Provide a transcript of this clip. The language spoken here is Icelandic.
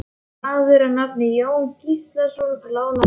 Maður að nafni Jón Gíslason lánaði mér.